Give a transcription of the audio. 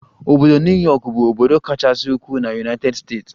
Obodo New Yọkụ bụ obodo kachasị ukwuu na United States.